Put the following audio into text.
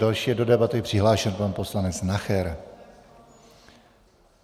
Další je do debaty přihlášen pan poslanec Nacher.